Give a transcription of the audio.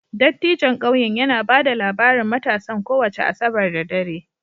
Dattijon ƙauyen yana ba da labarin matasan kowace Asabar da dare